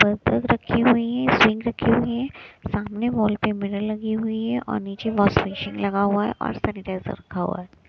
रखी हुई है सिंक रखी हुई है सामने वोल पे मिरर लगी हुई है और नीचे वॉश बेसिन लगा हुआ है और सैनिटाइजर रखा हुआ हैं।